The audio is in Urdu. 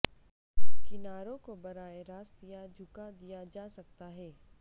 کناروں کو براہ راست یا جھکا دیا جا سکتا ہے